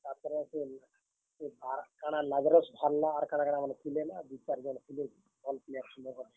ତାର୍ ପରେ ସେ, ଭାର୍ କାଣା ଲାଜାରସ୍ ଭାର୍ ଲା ଆର୍ କାଣାକାଣା ମାନେ ଥିଲେ ନା, ଦୁଇ, ଚାର୍ ଜଣ ଥିଲେ, ଭଲ୍ player ସୁନ୍ଦରଗଡ district ରେ।